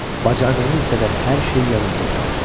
Bacardığınız qədər hər şeyi yadınıza salın.